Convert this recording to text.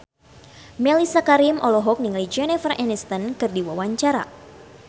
Mellisa Karim olohok ningali Jennifer Aniston keur diwawancara